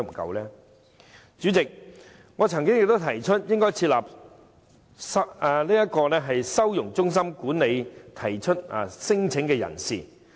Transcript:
代理主席，我曾提出設立收容中心管理提出聲請的人士。